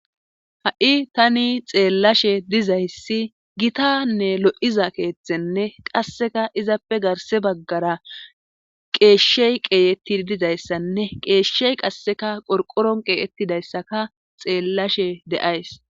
ha'i tani xeellashe dizayssi gitanne lo'iza keethenne qasseka izappe garse baggara qeeshshey qeeyeti dizayssanne qeeshshey qasseka qorqoron qeeyettidayssaka xeellashe de'ays